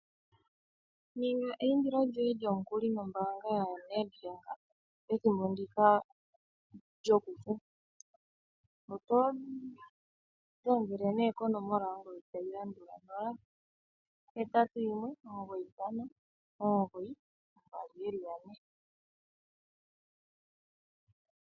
Ninga eyindilo lyomukuli nombaanga yaNedbank pethimbo ndika lyokufu oto dhengele nee konomola yongodhi tayi landula 081 959 2222.